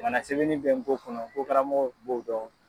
Ŋana sɛbɛnni bɛ ngo kɔnɔ ngo karamɔgɔw b'o dɔn.